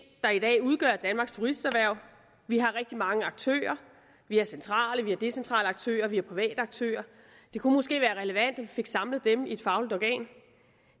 der i dag udgør danmarks turisterhverv vi har rigtig mange aktører vi har centrale og decentrale aktører og vi har private aktører det kunne måske være relevant at vi fik samlet dem i et fagligt organ